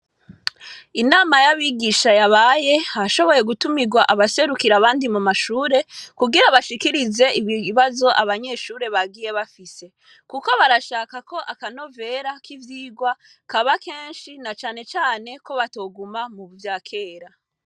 Inama y'abigisha yabaye, hashoboye gutumirwa abaserukira abandi mu mashure kugira bashikirize ibibazo abanyeshure bagiye bafise. Kuko barashaka ko akanovera k'ivyirwa kaba kenshi na cane cane ko batoguma mu vyakera.